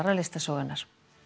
listasögunnar